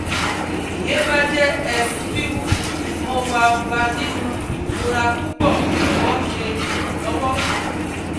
ti iyẹn ba jẹ ess wiwu, mo wa wa ninu irora pupọ jọwọ ṣe iranlọwọ